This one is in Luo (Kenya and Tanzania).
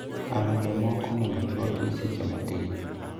Alode moko onego chwaki e seche matin